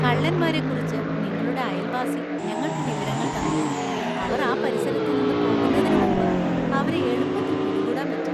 കള്ളന്മാരെക്കുറിച്ച് നിങ്ങളുടെ അയൽവാസി ഞങ്ങൾക്ക് വിവരങ്ങൾ തന്നു , അവർ ആ പരിസരത്ത് നിന്ന് പോകുന്നതിനുമുമ്പ് അവരെ എളുപ്പത്തിൽ പിടികൂടാൻ പറ്റി.